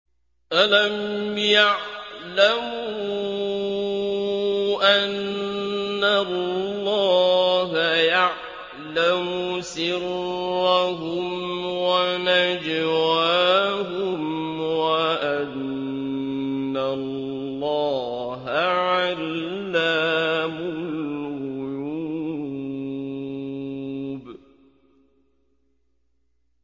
أَلَمْ يَعْلَمُوا أَنَّ اللَّهَ يَعْلَمُ سِرَّهُمْ وَنَجْوَاهُمْ وَأَنَّ اللَّهَ عَلَّامُ الْغُيُوبِ